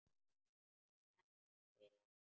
Sem er ekkert vit.